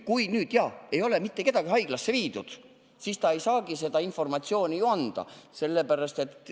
Kui mitte kedagi ei ole haiglasse viidud, siis ei saagi selle kohta informatsiooni ju anda.